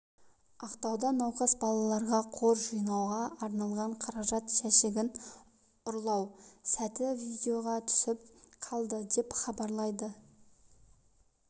ақтауда науқас балаларға қор жинауға арналған қаражат жәшігін ұрлау сәті видеоға түсіп қалды деп хабарлайды лада